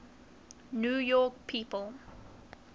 new york people